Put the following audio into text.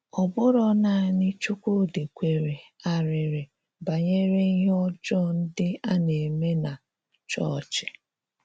Ọ̀bụ̀rọ̀ nanị Chúkwúdị̀ kwèrè àrị̀rị̀ banyere íhè ọ́jọọ ndị a na-eme nà chọọ́chị̀.